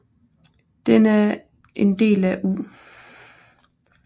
Den er en del af U